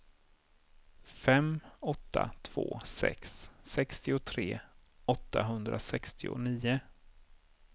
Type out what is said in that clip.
fem åtta två sex sextiotre åttahundrasextionio